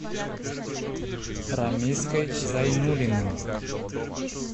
рамиской зайнуллиным